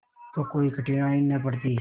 तो कोई कठिनाई न पड़ती